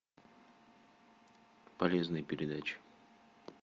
полезные передачи